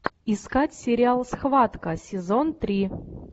искать сериал схватка сезон три